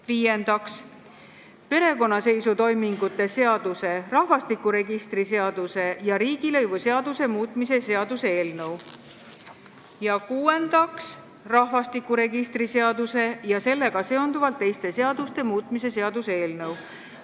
Viiendaks, perekonnaseisutoimingute seaduse, rahvastikuregistri seaduse ja riigilõivuseaduse muutmise seaduse eelnõu, ja kuuendaks, rahvastikuregistri seaduse ja sellega seonduvalt teiste seaduste muutmise seaduse eelnõu.